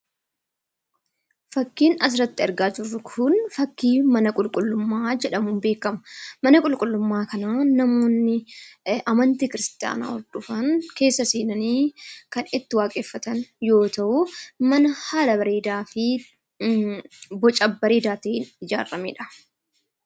Fakkiin asirratti argaa jirru Kun, fakkii mana qulqullummaa jedhamuun beekama. Mana qulqullummaa kanaa namoonni amantii kiristaanaa hordofan keessa seenanii kan itti waaqeffatan yoo ta'u mana haala bareedaa fi boca bareedaa ta'een ijaaramedha.